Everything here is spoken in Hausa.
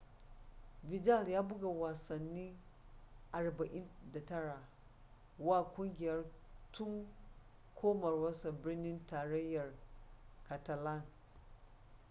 vidal ya buga wasanni 49 wa kungiyar tun komawarsa birnin tarayyar catalan